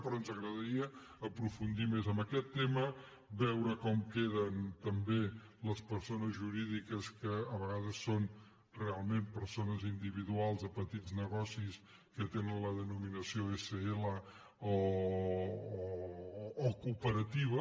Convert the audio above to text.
però ens agradaria aprofundir més en aquest tema veure com queden també les persones jurídiques que a vega des són realment persones individuals de petits negocis que tenen la denominació sl o cooperativa